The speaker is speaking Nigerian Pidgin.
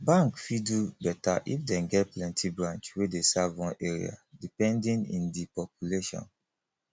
bank fit do better if dem get plenty branch wey dey serve one area depending in di population